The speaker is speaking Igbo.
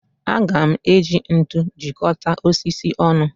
Aga m eji ntu jikọta osisi ọnụ